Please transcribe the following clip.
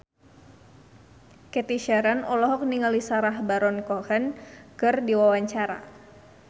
Cathy Sharon olohok ningali Sacha Baron Cohen keur diwawancara